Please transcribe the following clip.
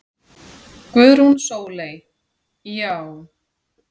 Guðrún Sóley: Já.